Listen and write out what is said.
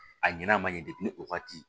A ɲin'a man ɲɛ depi o wagati